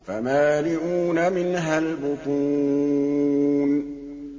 فَمَالِئُونَ مِنْهَا الْبُطُونَ